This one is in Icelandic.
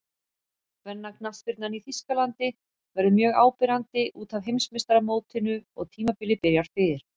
Kvennaknattspyrnan í Þýskalandi verður mjög áberandi útaf Heimsmeistaramótinu og tímabilið byrjar fyrr.